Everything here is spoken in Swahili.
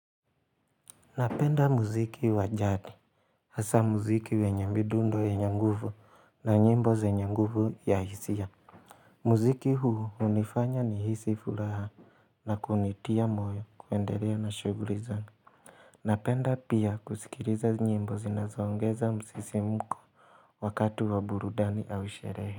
Napenda muziki wa jadi hasa muziki wenye midundo yenye nguvu na nyimbo zenye nguvu ya hisia muziki huu unanifanya nihisi furaha na kunitia moyo kuendelea na shughuli zangu Napenda pia kusikiliza nyimbo zinazoongeza msisimko wakatu wa burudani au sherehe.